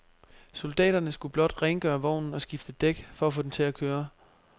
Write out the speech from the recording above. Soldaterne skulle blot rengøre vognen og skifte et dæk for at få den til at køre.